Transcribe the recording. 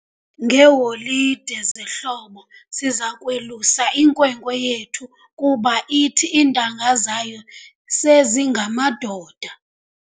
Ngeeholide zehlobo siza kwelusa inkwenkwe yethu kuba ithi iintanga zayo sezingamadoda.